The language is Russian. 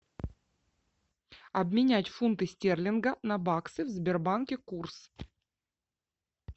обменять фунты стерлинга на баксы в сбербанке курс